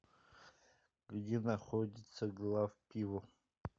где находится главпиво